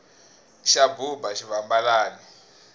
xa buba xivambalani